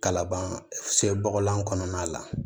Kalaban sen bɔgɔlan kɔnɔna la